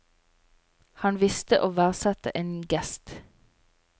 Han visste å verdsette en gest.